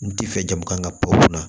N ti fɛ jamana ka pɔwu la